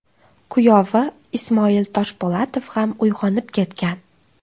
Kuyovi Ismoil Toshpo‘latov ham uyg‘onib ketgan.